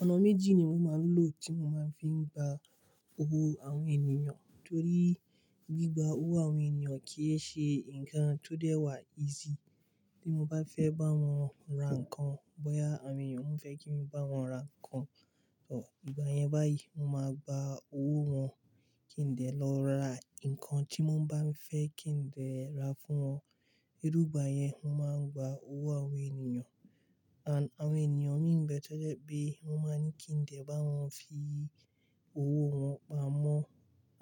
Ọnà méjì ni mo máa ń lò tí mo máa ń fi ń gba owó àwọn ènìyàn. Torí gbigba owó àwọn ènìyàn kì í ṣe nnkan tó dẹ́ wà easy. Bí mo bá fẹ́ bá wọn ra nǹkan, boya àwọn èèyàn won fẹ kí n bá wọn ra nǹkan, tọ, ìgbà yẹn báyìí mo máa gba owó wọn kí n dẹ lọ ra nǹkan tí wọ́n bá n fẹ́ kí n dẹ ra fún wọn. Irú igbà yẹn mo máa ń gba owó àwọn ènìyàn. And àwọn ènìyàn mí n bẹ̀ to jẹ pé wọ́n máa ní kí ǹ dẹ bá wọn fi owó wọn pamọ́.